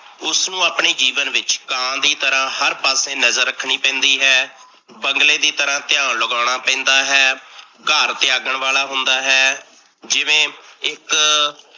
ਉਸਨੂੰ ਆਪਣੇ ਜੀਵਨ ਵਿੱਚ ਕਾਂ ਦੀ ਤਰ੍ਹਾਂ ਹਰ ਪਾਸੇ ਨਜਰ ਰੱਖਣੀ ਪੈਂਦੀ ਹੈ, ਬੰਗਲੇ ਦੀ ਤਰ੍ਹਾਂ ਧਿਆਨ ਲਗਾਉਣਾ ਪੈਂਦਾ ਹੈ, ਘਰ ਤਿਆਗਣ ਵਾਲਾ ਹੁੰਦਾ ਹੈ, ਜਿਵੇਂ ਇੱਕ